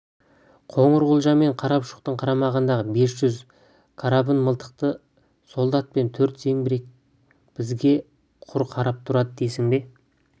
қоңырқұлжа мен қарапұшықтың қарамағындағы бес жүз карабін мылтықты солдат пен төрт зеңбірек бізге құр қарап тұрады дейсің бе